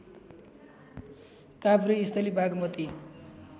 Kabhresthali Bagmati